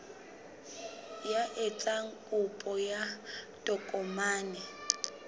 ya etsang kopo ya tokomane